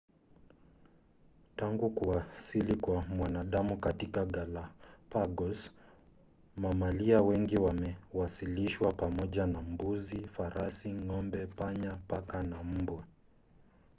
tangu kuwasili kwa mwanadamu katika galapagos mamalia wengi wamewasilishwa pamoja na mbuzi farasi ng'ombe panya paka na mbwa